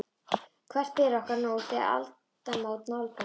Hvert ber okkur nú, þegar aldamót nálgast?